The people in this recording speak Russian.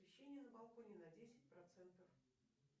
освещение на балконе на десять процентов